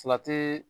Fila tɛ